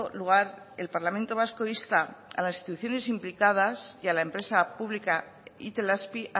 lugar el parlamento vasco insta a las instituciones implicadas y a la empresa pública itelazpi